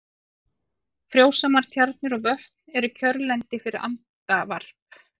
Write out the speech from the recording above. Frjósamar tjarnir og vötn eru kjörlendi fyrir andavarp.